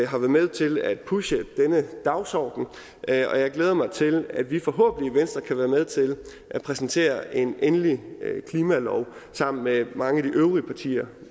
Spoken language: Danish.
har været med til at pushe denne dagsorden og jeg glæder mig til at vi forhåbentlig i venstre kan være med til at præsentere en endelig klimalov sammen med mange af de øvrige partier